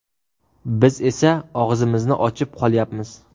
Biz esa og‘zimizni ochib qolyapmiz.